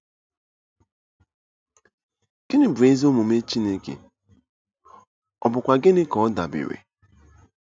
Gịnị bụ ezi omume Chineke, ọ bụkwa gịnị ka ọ dabeere?